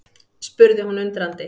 spurði hún undrandi.